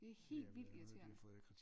Det er helt vildt irriterende